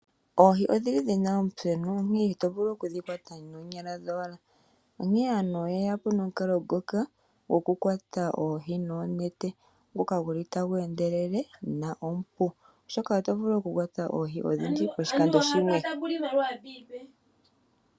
Oohi odhili dhina omuthenu onkene ito vulu okudhi kwata noonyala dhowala. Onkene aantu oye yapo nomukalo ngoka goku kwata oohi noonete, ngoka guli tagu endelele go omupu, oshoka oto vulu oku kwata oohi odhindji poshikando shimwe.